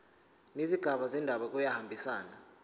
nezigaba zendaba kuyahambisana